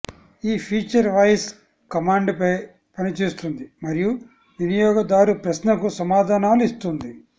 ఈ feature voice command పై పనిచేస్తుంది మరియు వినియోగదారు ప్రశ్నకు సమాధానాలు ఇస్తుంది